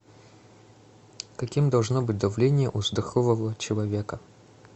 каким должно быть давление у здорового человека